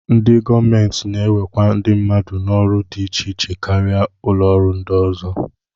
Ndị gọọmenti na-ewekwa ndị mmadụ n'ọrụ dị iche iche karịa ụlọọrụ ndị ọzọ